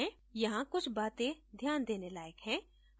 यहाँ कुछ बातें ध्यान देने लायक हैं